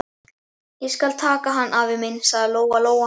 Ég skal taka hann, afi minn, sagði Lóa Lóa.